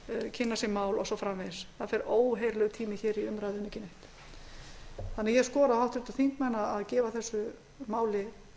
kynna sér mál og svo framvegis það fer óheyrilegur tími í umræður um ekki neitt ég skora á háttvirtu þingmenn að gefa þessu máli